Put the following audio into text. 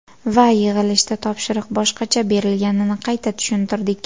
Va yig‘ilishda topshiriq boshqacha berilganini qayta tushuntirdik.